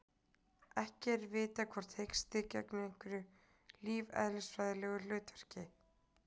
Ekki er vitað hvort hiksti gegnir einhverju lífeðlisfræðilegu hlutverki.